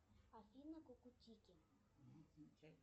афина кукутики